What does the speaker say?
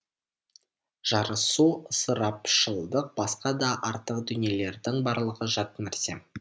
жарысу ысырапшылдық басқа да артық дүниелердің барлығы жат нәрсе